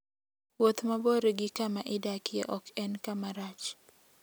Wuoth mabor gi kama idakie ok en kama rach.